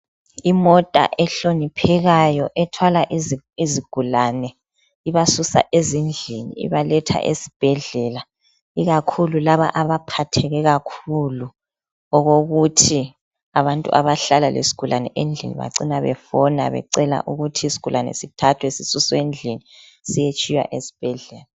Imota ehloniphekayo ethwala izigulani ibasusa ezindlini ibaletha esibhedlela ikakhulu laba abaphatheke kakhulu okokuthi abantu abahlala lesigulane endlini bacina befona becela ukuthi isigulane sithathwe endlini siyetshiywa esibhedlela.